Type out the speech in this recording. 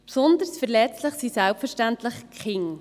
Besonders verletzlich sind selbstverständlich die Kinder.